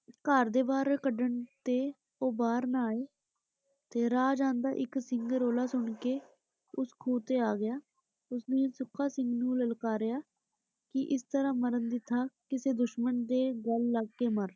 ਘਰ ਤੇ ਬਾਹਰ ਕੱਢਣ ਤੇ ਉਹ ਬਾਹਰ ਨਾ ਆਏ। ਤੇ ਰਾਹ ਜਾਂਦਾ ਇਕ ਸਿੰਘ ਰੌਲਾ ਸੁਣਕੇ ਉਸ ਖੂਹ ਤੇ ਆ ਗਿਆ, ਉਸਨੇ ਸੁੱਖਾ ਸਿੰਘ ਨੂੰ ਲਲਕਾਰਿਆ ਕਿ ਇਸ ਤਰ੍ਹਾਂ ਮਰਨ ਦੀ ਥਾਂ ਕਿਸੇ ਦੁਸ਼ਮਣ ਦੇ ਗਲ ਲੱਗ ਕੇ ਮਰ ।